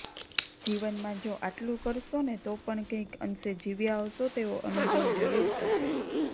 જીવનમાં જો આટલુ કરશો ને તો પણ કંઇક અંશે જીવ્યા હશો તેવું અનુભવ જરુર થશે